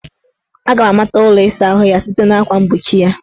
Aga m amata ụlọ ịsaahụ ya site na akwa mgbochi ya